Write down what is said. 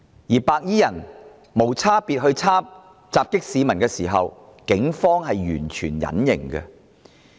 當白衣人無差別襲擊市民時，警方是完全隱形的。